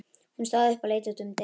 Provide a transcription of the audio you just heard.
Hún stóð upp og leit út um dyrnar.